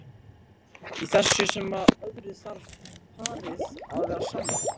Í þessu sem öðru þarf parið að vera sammála.